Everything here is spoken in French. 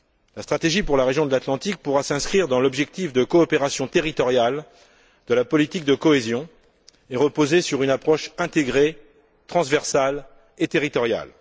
La stratégie pour la région de l'Atlantique pourra s'inscrire dans l'objectif de coopération territoriale de la politique de cohésion et reposer sur une approche intégrée, transversale et territoriale.